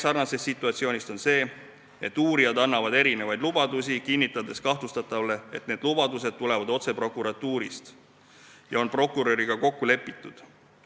Sarnase situatsiooni teine variant on see, kui uurijad annavad erinevaid lubadusi, kinnitades kahtlustatavale, et need lubadused tulevad otse prokuratuurist ja kõik on prokuröriga kokku lepitud.